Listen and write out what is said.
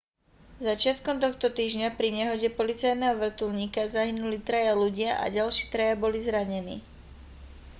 začiatkom tohto týždňa pri nehode policajného vrtuľníka zahynuli traja ľudia a ďalší traja boli zranení